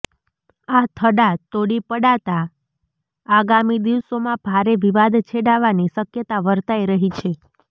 આ થડા તોડી પડાતાં આગામી દિવસોમાં ભારે વિવાદ છેડાવાની શકયતા વર્તાઇ રહી છે